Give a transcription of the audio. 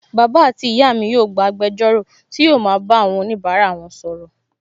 Bàbá àti ìyá mi yóò gba agbẹjọ́rò tí yóò ma bá wọn bá onibara wọn sọ̀rọ̀